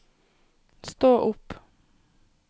stå opp